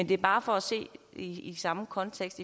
det er bare for at se det i samme kontekst